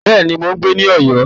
Bẹ́ẹ̀ nu, mò ń gbé ní Ọ̀yọ́